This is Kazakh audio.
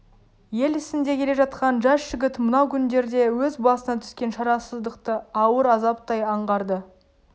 ел ісінде келе жатқан жас жігіт мынау күндерде өз басына түскен шарасыздықты ауыр азаптай аңғарды